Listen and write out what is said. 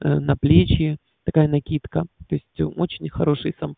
на плечи такая накидка то есть очень хороший сам